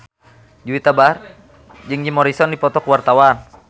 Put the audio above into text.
Juwita Bahar jeung Jim Morrison keur dipoto ku wartawan